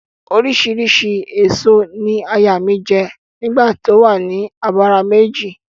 Oríṣiríṣi ẹ̀so ni aya mi jẹ́ nígbà tó o wa ni abara méjì